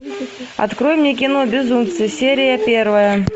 открой мне кино безумцы серия первая